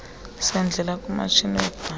sendlela kumatshini webhanki